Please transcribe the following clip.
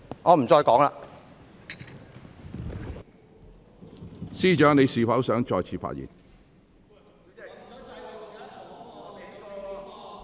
律政司司長，你是否想再次發言？